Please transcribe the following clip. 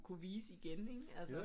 Kunne vise igen ikke altså